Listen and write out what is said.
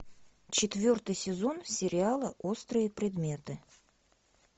четвертый сезон сериала острые предметы